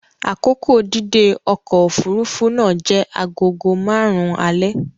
Akoko dídé ọkọ̀ òfuurufú náà jẹ́ agogo márùn-ún alẹ́.